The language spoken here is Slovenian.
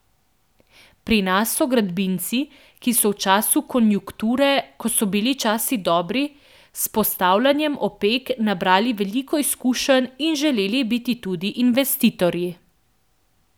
Pri nas so gradbinci, ki so v času konjukture, ko so bili časi dobri, s postavljanjem opek nabrali veliko izkušenj in želeli biti tudi investitorji.